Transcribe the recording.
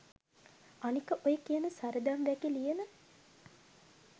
අනික ඔය කියන සරදම් වැකි ලියන